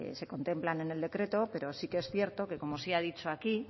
se contemplan en el decreto pero sí que es cierto que como se ha dicho aquí